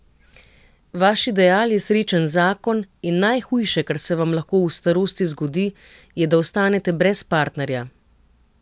Vaš ideal je srečen zakon in najhujše, kar se vam lahko v starosti zgodi, je, da ostanete brez partnerja.